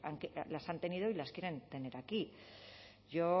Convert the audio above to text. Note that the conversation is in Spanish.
que las han tenido y las quieren tener aquí yo